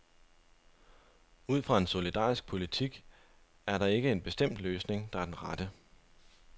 Ud fra en solidarisk politik er der ikke en bestemt løsning, der er den rette.